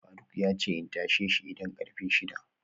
faruk yace in tasheshi idan karfe shida